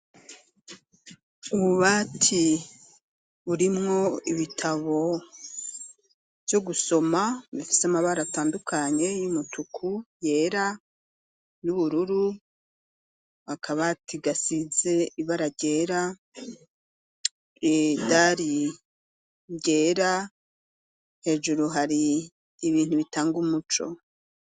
Ubu bati burimwo ibitabo vyo gusoma bifis' amabar' atandukanye y'umutuku, yera n'ubururu, akaba gasize ibara ryera idari ryera hejuru hari ibintu bitang' umuco.